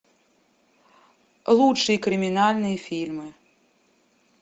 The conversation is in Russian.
лучшие криминальные фильмы